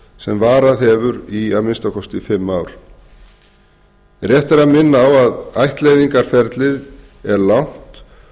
sem varað hefur í að minnsta kosti fimm ár rétt er að minna á að ættleiðingarferlið er langt